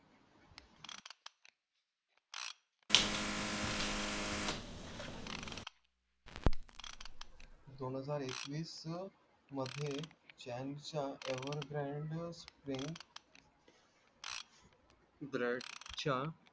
दोन हजार एकवीस चं मधे chan च्या ever grand अं